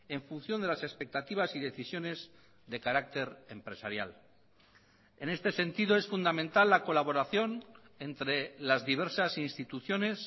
en función de las expectativas y decisiones de carácter empresarial en este sentido es fundamental la colaboración entre las diversas instituciones